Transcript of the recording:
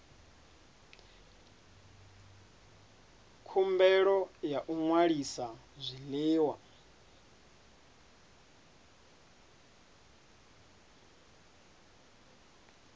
khumbelo ya u ṅwalisa zwiḽiwa